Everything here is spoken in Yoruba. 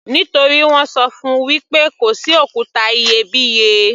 Nítorí wọ́n ṣọ fún -un wí pé kò sí òkúta iyebíye.